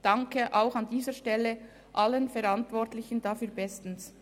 Wir danken an dieser Stelle allen Verantwortlichen bestens.